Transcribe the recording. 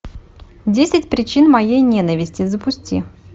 десять причин моей ненависти запусти